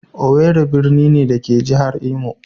Owerri birni ne, da ke a jihar Imo.